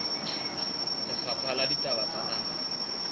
lefapha la ditaba tsa naha